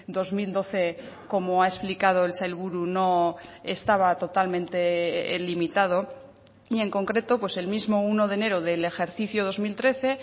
dos mil doce como ha explicado el sailburu no estaba totalmente limitado y en concreto pues el mismo uno de enero del ejercicio dos mil trece